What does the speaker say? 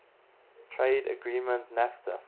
trade agreement nafta